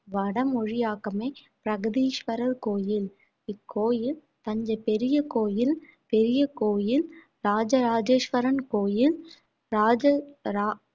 வடமொழியாக்கமே பிரகதீஸ்வரர் கோயில் இக்கோயில் தஞ்சை பெரிய கோயில் பெரிய கோயில் ராஜராஜேஸ்வரன் கோயில் ராஜரா~